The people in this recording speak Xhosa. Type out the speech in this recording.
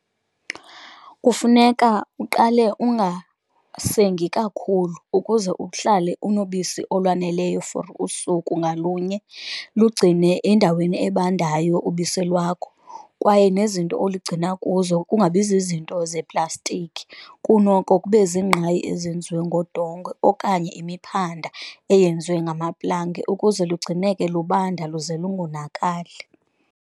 Kufuneka uqale ungasengi kakhulu ukuze uhlale unobisi olwaneleyo for usuku ngalunye, lugcine endaweni ebandayo ubisi lwakho kwaye nezinto oligcina kuzo kungabi ziznto zeplastiki. Kunoko kube ziingqayi ezenziwe ngodongwe okanye imiphanda eyenziwe ngamaplanga ukuze lugcineke lubanda luze lungonakali.